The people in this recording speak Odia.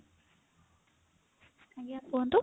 ଆଜ୍ଞା କୁହନ୍ତୁ